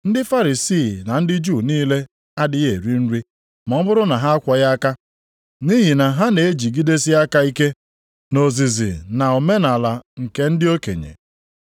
Ndị Farisii na ndị Juu niile adịghị eri nri ma ọ bụrụ na ha akwọghị aka, nʼihi na ha na-ejigidesi aka ike nʼozizi na omenaala nke ndị okenye.